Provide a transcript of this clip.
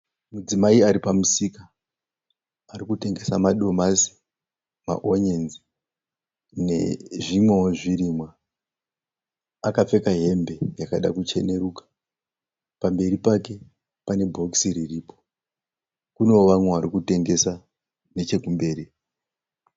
Mudzimai Ari pamusika. Ari kutengesa madomasi maonyeni nezvimwewo zvirimwa. Akapfeka hembe yakada kucheneruka. Pamberi pake pane bhokisi riripo. Kune vamwewo vari kutengesa nechekumberi.